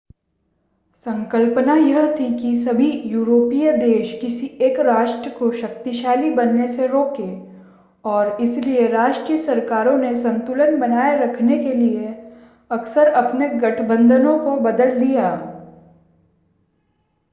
संकल्पना यह थी कि सभी यूरोपीय देश किसी एक राष्ट्र को शक्तिशाली बनने से रोकें और इसलिए राष्ट्रीय सरकारों ने संतुलन बनाए रखने के लिए अक्सर अपने गठबंधनों को बदल दिया